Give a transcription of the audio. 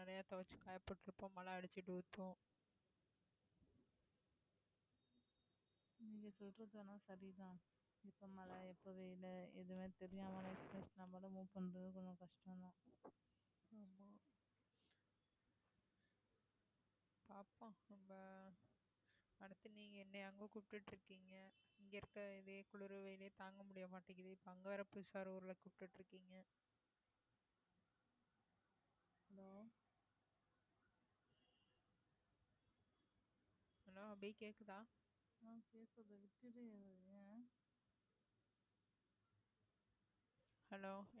hello